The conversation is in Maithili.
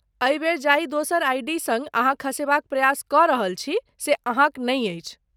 एहि बेर जाहि दोसर आइ.डी. सङ्ग अहाँ खसेबाक प्रयास कऽ रहल छी से अहाँक नै अछि।